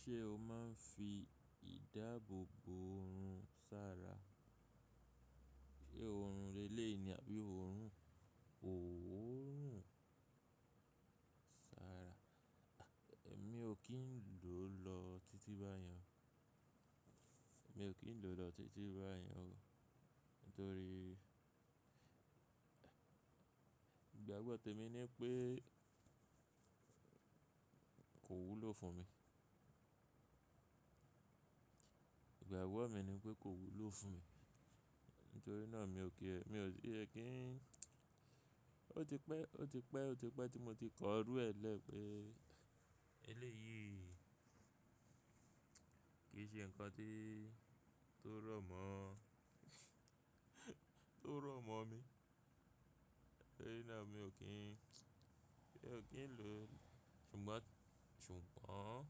Ṣé o máa ń fi ìdáàbò bo oorun sára? Sé oorun relé ni àbí oorun òwó nù sára? Èmi ò kí ń lò lọ títí báyẹn. Èmi ò kí ń lò lọ títí báyẹn o. Nítorí ìgbàgbọ́ tèmi ni pé kò wúlò fún mi. Ìgbàgbọ́ mi ni pé kò wúlò fún mi. Nítorí náà mi ò kí, mi ò tie ẹ kí Ó ti pẹ́, ó ti pẹ́, ó ti pẹ́ tí mo ti kọ rú ẹ lẹ́ pé eléyìí kì í ṣe ǹkan tí tó rọ̀mọ́, tó rọ̀mọ́ mi. Bẹ́ẹ̀ ni náà mi ò kí ń, mi ò kí ń lò. Ṣùgbọ́n, ṣùgbọ́n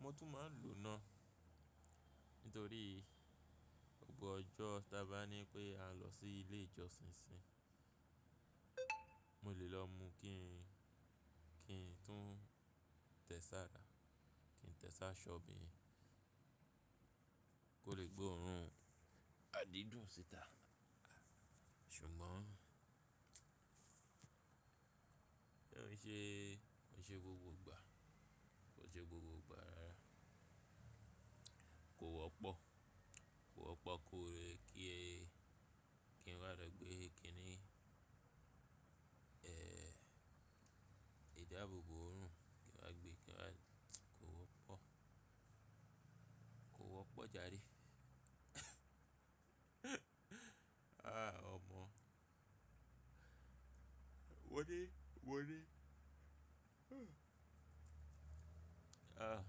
mo tún máa ń lò náà. Nítorí gbogbo ọjọ́ tà bá ní pé a lọ sí ilé ìjọsìn síi, mo lè lọ mu kí ń, kí ń tún tẹ̀sára, kí ń tẹ̀sá ṣọ́ bí i kò lè gbé oorun adídùn síta. Ṣùgbọ́n ó ṣe, ó ṣe gbogbo ìgbà. Ó ṣe gbogbo ìgbà kò wọ́pọ̀, kò wọ́pọ̀ kórè kí ẹ, kí n wá rẹ gbé ẹ kí ni, ẹ́, ìdáàbò bo oorun kí n wá gbé, kí n wá, kò wọ́pọ̀. Kò wọ́pọ̀ jàre. Àá ọmọ. Wọ́n ní, wọ́n ní, ah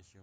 ẹṣu.